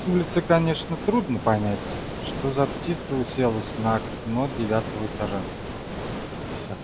с улицы конечно трудно понять что за птица уселась на окно девятого этажа всё